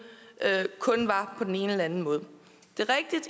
kun var på den ene eller anden måde det